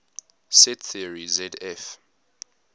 set theory zf